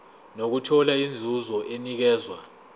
nokuthola inzuzo enikezwa